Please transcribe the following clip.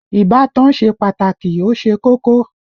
Ìbátan ṣe pàtàkì ó ṣe kókó